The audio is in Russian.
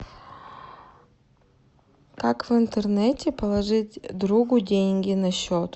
как в интернете положить другу деньги на счет